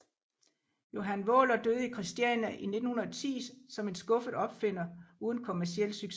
Johan Vaaler døde i Kristiania i 1910 som en skuffet opfinder uden kommerciel succes